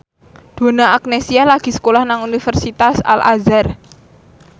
Donna Agnesia lagi sekolah nang Universitas Al Azhar